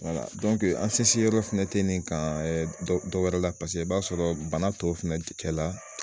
Wala an sinsin yɔrɔ fɛnɛ tɛ nin ka dɔ dɔ wɛrɛ la paseke i b'a sɔrɔ bana tɔw fɛnɛ cɛ la